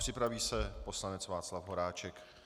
Připraví se poslanec Václav Horáček.